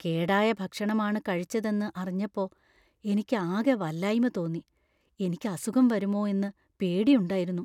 കേടായ ഭക്ഷണമാണ് കഴിച്ചതെന്നു അറിഞ്ഞപ്പോ എനിക്ക് ആകെ വല്ലായ്മ തോന്നി . എനിക്ക് അസുഖം വരുമോ എന്ന് പേടിയുണ്ടായിരുന്നു.